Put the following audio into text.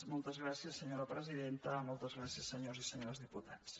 moltes gràcies senyora presidenta moltes gràcies se·nyors i senyores diputats